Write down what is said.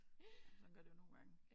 Jamen sådan gør det jo nogle gange